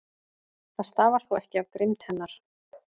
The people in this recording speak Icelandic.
Það stafar þó ekki af grimmd hennar.